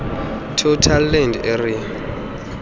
total land area